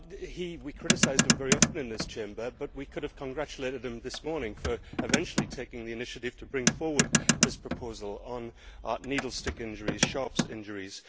We have often criticised him here in this Chamber, but we could have congratulated him this morning for eventually taking the initiative to bring forward this proposal on needle stick injuries, sharps injuries.